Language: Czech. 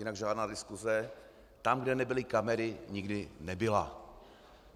Jinak žádná diskuse tam, kde nebyly kamery, nikdy nebyla.